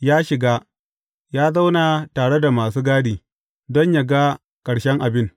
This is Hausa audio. Ya shiga, ya zauna tare da masu gadi, don yă ga ƙarshen abin.